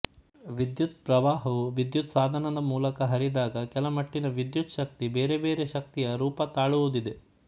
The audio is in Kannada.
ವಿದ್ಯುತ್ ಪ್ರವಾಹವು ವಿದ್ಯುತ್ ಸಾಧನದ ಮೂಲಕ ಹರಿದಾಗ ಕೆಲ ಮಟ್ಟಿನ ವಿದ್ಯುತ್ ಶಕ್ತಿ ಬೇರೆ ಬೇರೆ ಶಕ್ತಿಯ ರೂಪ ತಾಳುವುದಿದೆ